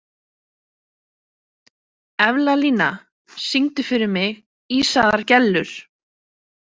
Evlalía, syngdu fyrir mig „Ísaðar Gellur“.